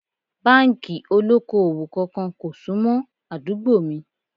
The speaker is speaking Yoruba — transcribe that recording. Báńkì ó lóko-òwò kankan kò sún mọ́ àdúgbò mi